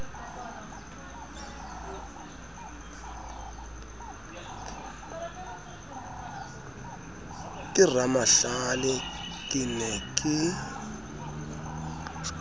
ke ramahlale ke ne ke